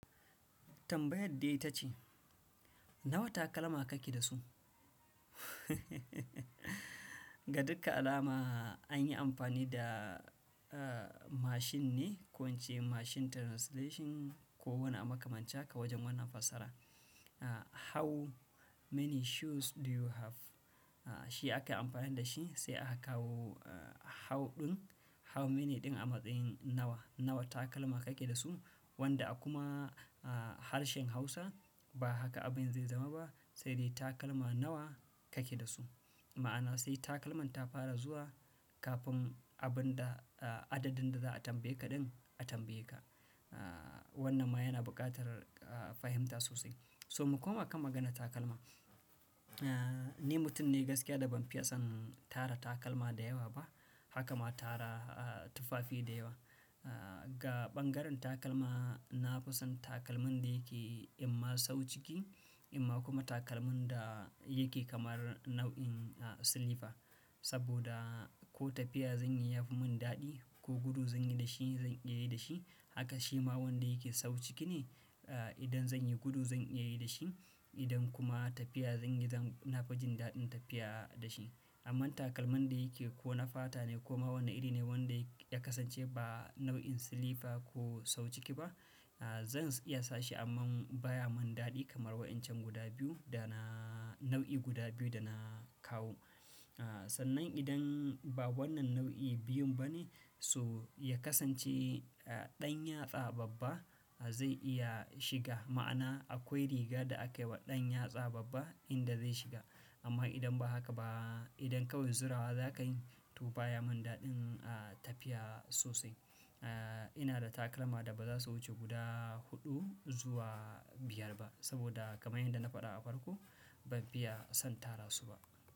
Tambayar dai ta ce, "nawa takalma kake da su"? Ga dukka alama an yi amfani da, uh, mashin ne, ko ince mashin translation, ko wane a makamancin haka wajen wannan fassarar, Uh, how many shoes do you have? Uh, shi akai amfani da shi, sai aka kawo, uh, how ɗin, how many ɗin a matsayin nawa, nawa takalma kake da su? Wanda a kuma, uh, harshen Hausa, ba haka abin zai zama ba, sai dai takalma nawa kake da su? Ma'ana sai takalman ta fara zuwa, kafin abin da, uh, adadin da za a tambaye ka ɗin a tambaye ka. Uh, wannan ma yana buƙatar, uh, fahimta sosai, So mu koma kan maganar takalma, Uh, ni mutum ne gaskiya da ban fiye son tara takalma da yawa ba, haka ma tara, uh, tufafi da yawa. Uh, ga ɓangaren takalma, na fi son takalmin da yake imma sau ciki, imma kuma takalmin da yake kamar nau'in, uh, silifa. Saboda ko tafiya zan yi ya fi mun daɗi, ko gudu zan yi da shi zan iya yi da shi. Haka shi ma wanda yake sau ciki ne, uh, idan zan yi gudu zan iya yi da shi, idan kuma tafiya zan yi zan-- na fi jin daɗin tafiya da shi. Amman takalmin da yake ko na fata ne ko ma wani iri ne wanda ya kasance ba nau'in silifa ko sau ciki ba, uh, zan iya sa shi amma baya mun daɗi kamar wa'incan guda biyu da na nau'i guda biyu da na kawo. Uh, sannan idan ba wannan nau'i biyun ba ne, so ya kasance, uh, ɗan yatsa babba zai iya shiga, ma'ana akwai riga da akai wa ɗan yatsa babba inda zai shiga, amma idan ba haka ba, idan kawai zura wa za ka yi, to baya mun daɗin, uh, tafiya sosai. Uh, ina da takalma da ba za su wuce guda huɗu zuwa biyar ba, saboda kamar yadda na faɗa a farko, ban fiya son tara su ba.